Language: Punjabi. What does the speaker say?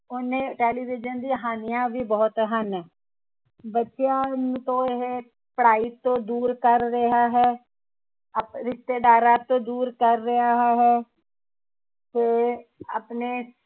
ਉਹਨੇ ਟੈਲੀਵਿਜ਼ਨ ਦੀ ਹਾਨੀਆ ਵੀ ਬਹੁਤ ਹਨ। ਬੱਚਿਆਂ ਨੂੰ ਤਾਂ ਇਹ ਪੜ੍ਹਾਈ ਤੋਂ ਦੂਰ ਕਰ ਰਿਹਾ ਹੈ ਆਪ ਰਿਸ਼ਤੇਦਾਰਾਂ ਤੋਂ ਦੂਰ ਕਰ ਰਿਹਾ ਹੈ ਤੇ ਆਪਣੇ